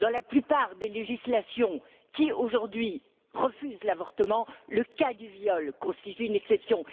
Dans la plupart des législations qui, aujourd'hui, refusent l'avortement, le cas du viol constitue une exception